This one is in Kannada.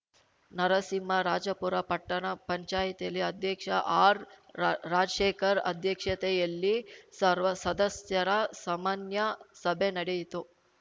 ನರಸಿಂಹರಾಜಪುರ ಪಟ್ಟಣ ಪಂಚಾಯಿತಿಲಿ ಅಧ್ಯಕ್ಷ ಆರ್‌ರಾ ರಾಜಶೇಖರ್‌ ಅಧ್ಯಕ್ಷತೆಯಲ್ಲಿ ಸರ್ವಸದಸ್ಯರ ಸಮನ್ಯ ಸಭೆ ನಡೆಯಿತು